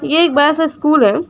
ये एक बड़ा सा स्कूल है।